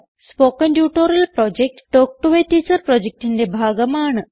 spoken tutorial project talk to a teacher പ്രൊജക്റ്റിന്റെ ഭാഗമാണ്